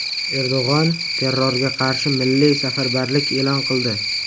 Erdo‘g‘on terrorga qarshi milliy safarbarlik e’lon qildi.